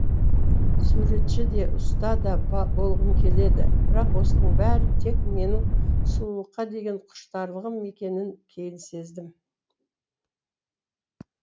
суретші де ұста да болғым келді бірақ осының бәрі тек менің сұлулыққа деген құштарлығым екенін кейін сездім